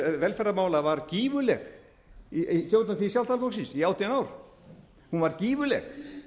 velferðarmála var gífurleg í stjórnartíð sjálfstæðisflokksins í átján ár hún var gífurleg